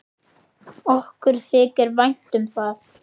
Okkur þykir vænt um það.